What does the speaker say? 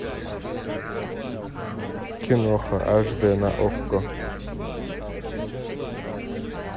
киноха аш дэ на окко